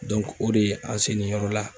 o de ye an selen yɔrɔ la.